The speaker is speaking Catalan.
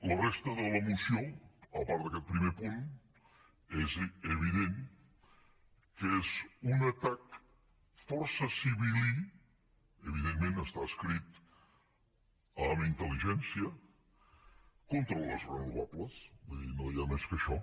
la resta de la moció a part d’aquest primer punt és evident que és un atac força sibil·lí evidentment està escrit amb inteldir no hi ha més que això